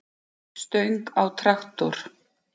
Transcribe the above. stöng á traktor.